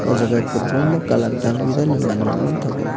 aw jaaga kwbangma colour dalbidal manui rok manthogo.